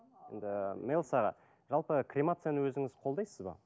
енді мелс аға жалпы кремацияны өзіңіз қолдайсыз ба